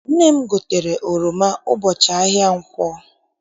Nne m gotere oroma ụbọchị ahịa nkwọ.